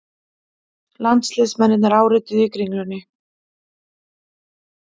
Landsliðsmennirnir árituðu í Kringlunni